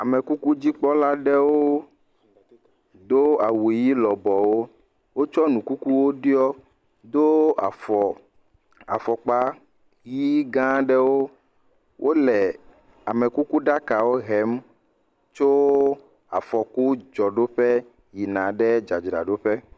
Amekukudzi kpɔlawo do awu ɣi lɔbɔwo wotsɔ nu kukuwo ɖɔ wodo afɔkpa ɣi gã aɖewo wole amekukuɖakawo hem tso afɔku dzɔɖoƒe yina dzadzraɖoƒe